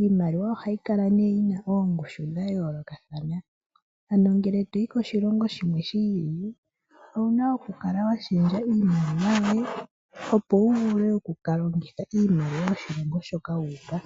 Iimaliwa oha yi kala yina oongushu dha yoolokathana, ano ngele to yi koshilongo shimwe shi ili, ouna oku ksla wa shendja iimaliwa yoye, opo wu vule oku kala wa ka longitha iimaliwa yoshilongo shoka wuuka.